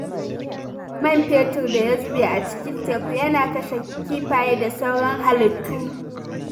Man fetur da ya zube a cikin teku yana kashe kifaye da sauran halittu.